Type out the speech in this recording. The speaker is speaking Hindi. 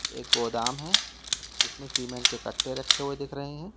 एक गोदाम है जिसमें सीमेंट के कट्टे रखे हुए दिख रहे हैं।